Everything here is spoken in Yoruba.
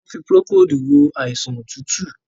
wón fí Procold wọ àìsàn otutu.